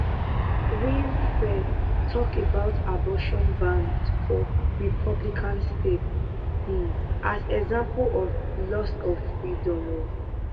winfrey tok about abortion bans for republican states um as example of loss of freedom um